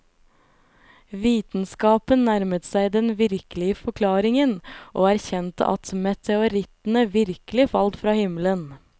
Vitenskapen nærmet seg den virkelige forklaringen, og erkjente at meteorittene virkelig falt fra himmelen.